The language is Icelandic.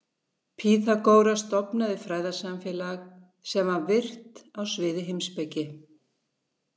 Pýþagóras stofnaði fræðasamfélag sem var virt á sviði heimspeki.